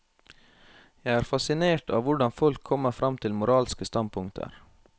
Jeg er fascinert av hvordan folk kommer frem til moralske standpunkter.